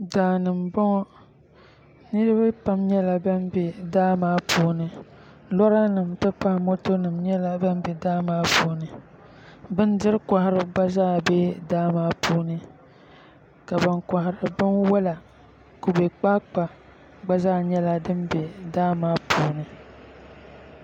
Daa ni m-bɔŋɔ niriba pam nyɛla ban be daa maa puuni loorinima nti pahi motonima nyɛla ban be daa maa puuni bindirikɔhiriba gba be daa maa puuni ka ban kɔhiri binwala kubekpaakpa gba nyɛla din be daa maa puuni